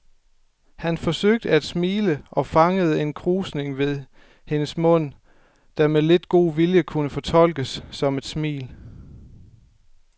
Han forsøgte at smile og fangede en krusning ved hendes mund, der med lidt god vilje kunne fortolkes som et smil.